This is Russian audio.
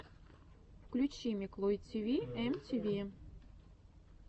включи миклой тиви эм ти ви